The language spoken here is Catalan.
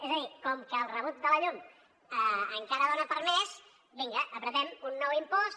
és a dir com que el rebut de la llum encara dona per més vinga apretem un nou impost